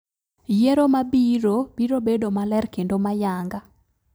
Yero mabiiro biro bedo maler kendo mayanga